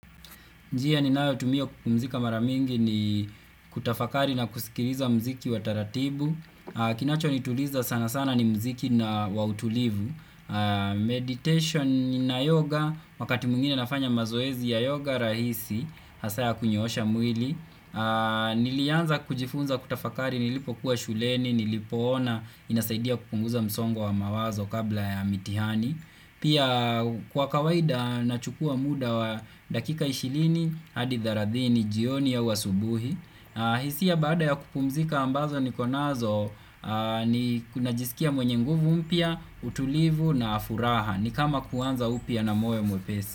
Njia ninayo tumia kupumzika mara mingi ni kutafakari na kusikiliza mziki wa taratibu. Kinacho nituliza sana sana ni mziki na wautulivu. Meditation na yoga, wakati mwingine nafanya mazoezi ya yoga rahisi. Hasa ya kunyoosha mwili. Nilianza kujifunza kutafakari nilipokuwa shuleni, nilipoona inasaidia kupunguza msongo wa mawazo kabla ya mitihani. Pia kwa kawaida na chukua muda wa dakika 20 hadi thelathini jioni au asubuhi. Hisia baada ya kupumzika ambazo niko nazo. Ni kuna jisikia mwenye nguvu mpya, utulivu na furaha. Ni kama kuanza upya na moyo mwepesi.